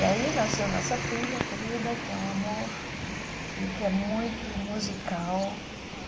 E aí nasceu nossa filha querida, que é um amor, e que é muito musical.